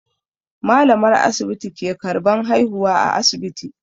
Malamar asibiti ke karban haihuwa a asibiti.